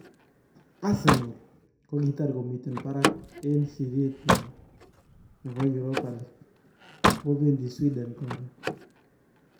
Arsenal, kogitar komiten paraak en sirityeet nywan nebo Europa League , oh pendi sweden koron